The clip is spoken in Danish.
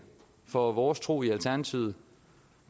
for vores tro i alternativet